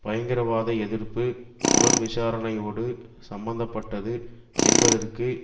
பயங்கரவாத எதிர்ப்பு புலன் விசாரணையோடு சம்மந்த பட்டது என்பதற்கு